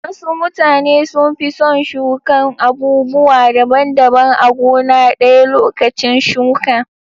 Wasu mutane sun fi son shukan abubuwa daban daban a gona ɗaya lokacin shuka.